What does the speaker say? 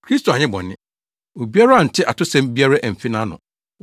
“Kristo anyɛ bɔne. Obiara ante atosɛm biara amfi nʼano.”